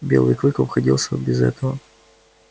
белый клык обходился без этого